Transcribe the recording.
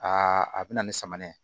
Aa a bɛ na ni samanɛnɛ ye